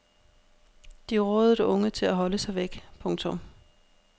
De rådede unge til at holde sig væk. punktum